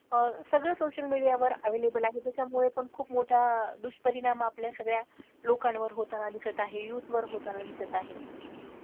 अह सगळं social media वर available आहे त्याच्यामुळे पण खूप मोठा दुष्परिणाम आपल्या सगळया लोकांवर होताना दिसत आहे youth वर होताना दिसत आहे.